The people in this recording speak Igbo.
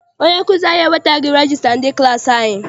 Onye nkụzi anyị ewetaghi regista ndị klassi anyị.